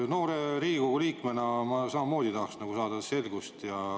Noore Riigikogu liikmena ma samamoodi tahaks saada selgust.